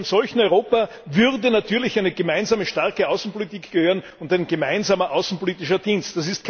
Zu einem solchen Europa würde natürlich eine gemeinsame starke Außenpolitik gehören und ein gemeinsamer außenpolitischer Dienst.